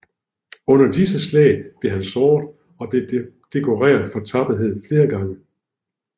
Under disse slag blev han såret og blev dekoreret for tapperhed flere gange